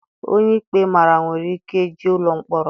Onye ikpe mara nwere ike jee ụlọ mkpọrọ.